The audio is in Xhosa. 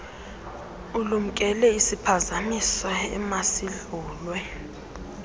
ulumkele isiphazamiso emasidlulwe